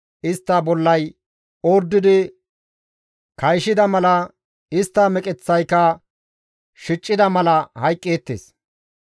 istta bollay ordidi kayshida mala, istta meqeththaykka shicida mala hayqqeettes.